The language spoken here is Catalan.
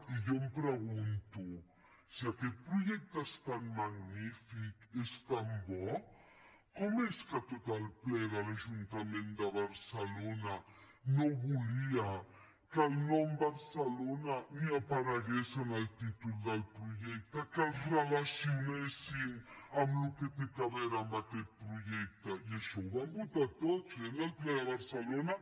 i jo em pregunto si aquest projecte és tan magnífic és tan bo com és que tot el ple de l’ajuntament de barcelona no volia que el nom barcelona ni aparegués en el títol del projecte que el relacionessin amb el que té a veure amb aquest projecte i això ho van votar tots eh en el ple de barcelona